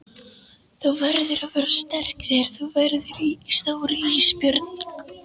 Þú verður að vera sterk þegar þú verður stór Ísbjörg.